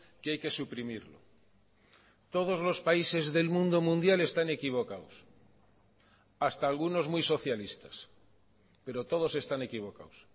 que hay que suprimirlo todos los países del mundo mundial están equivocados hasta algunos muy socialistas pero todos están equivocados